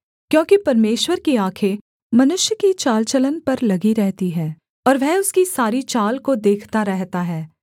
क्योंकि परमेश्वर की आँखें मनुष्य की चाल चलन पर लगी रहती हैं और वह उसकी सारी चाल को देखता रहता है